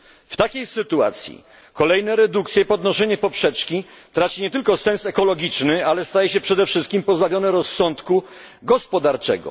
W takiej sytuacji kolejne redukcje, podnoszenie poprzeczki, traci nie tylko sens ekologiczny, ale staje się przede wszystkim pozbawione rozsądku gospodarczego.